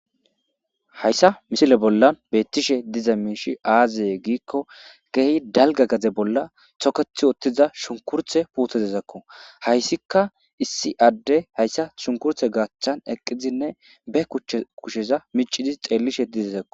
hayssa misile bolla beettishe diza miishi aazaye giikko geehi dalga gaze bolla tokethi ottiza shunkurthe puutedezakko hayssika issi adde hayssa shunkurthe gaachchan eqqizinne be kchch kusheza micidi xeellishe dizezakko